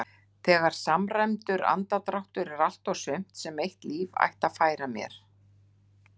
Þegar samræmdur andardráttur er allt og sumt sem eitt líf ætti að færa mér.